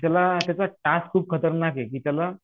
त्याला त्याचा टास्क खूप खतरनाक आहे की त्याला